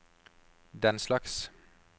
denslags